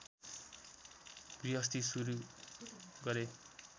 गृहस्थी सुरु गरे